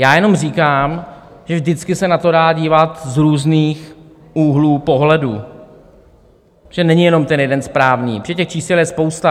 Já jenom říkám, že vždycky se na to dá dívat z různých úhlů pohledu, že není jenom ten jeden správný, že těch čísel je spousta.